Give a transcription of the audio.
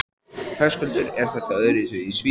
Höskuldur: Er þetta öðruvísi í Svíþjóð?